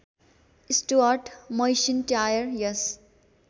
Stuart MacIntyre yes